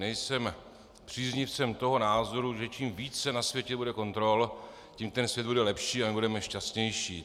Nejsem příznivcem toho názoru, že čím více na světě bude kontrol, tím ten svět bude lepší a my budeme šťastnější.